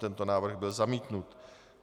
Tento návrh byl zamítnut.